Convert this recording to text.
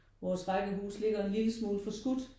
Vores rækkehus ligger en lille smule forskudt